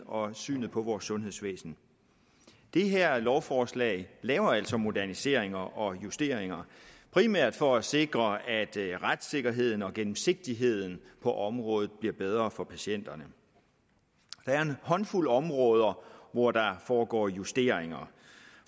og synet på vort sundhedsvæsen det her lovforslag laver altså moderniseringer og justeringer primært for at sikre at retssikkerheden og gennemsigtigheden på området bliver bedre for patienterne der er en håndfuld områder hvor der foregår justeringer